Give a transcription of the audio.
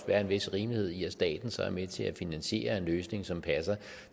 være en vis rimelighed i at staten så er med til at finansiere en løsning som passer